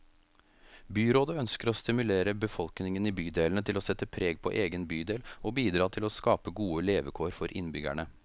Byrådet ønsker å stimulere befolkningen i bydelene til å sette preg på egen bydel, og bidra til å skape gode levekår for innbyggerne.